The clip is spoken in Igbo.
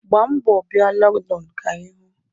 Gbaa mbọ bịa Lọndonụ ka anyị hụ.